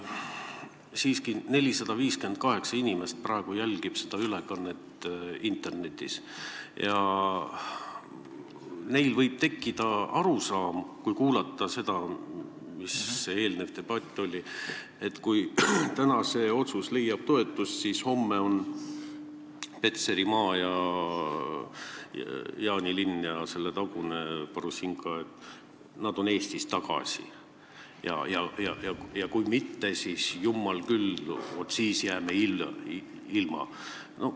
Siiski, 458 inimest jälgib seda ülekannet praegu internetis ja kui nad kuulasid eelnevat debatti, siis võib neil tekkida arusaam, et kui täna leiab see otsus toetust, siis homme on Petserimaa ning Jaanilinn ja selle tagune, Parussinka, Eesti käes tagasi ja kui mitte, siis jumal küll, vaat siis jääme ilma.